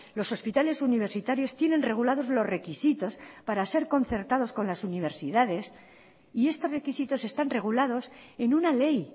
los hospitales universitarios tienen regulados los requisitos para ser concertados con las universidades y estos requisitos están regulados en una ley